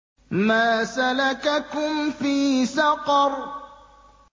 مَا سَلَكَكُمْ فِي سَقَرَ